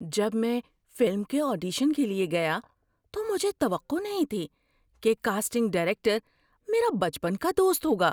جب میں فلم کے آڈیشن کے لیے گیا تو مجھے توقع نہیں تھی کہ کاسٹنگ ڈائریکٹر میرا بچپن کا دوست ہوگا۔